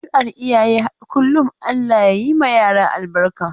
Adduar iyaye har kullum Allah ya yi ma yara albarka.